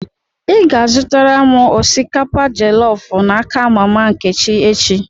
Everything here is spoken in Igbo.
Ị ga-azụtara m osikapa jelọf n'aka mama Nkechi echi!